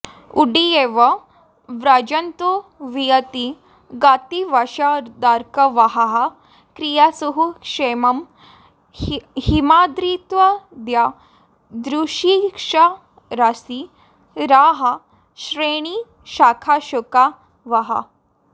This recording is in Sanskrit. उड्डीयेव व्रजन्तो वियति गतिवशादर्कवाहाः क्रियासुः क्षेमं हेमाद्रिहृद्यद्रुमशिखरशिरःश्रेणिशाखाशुका वः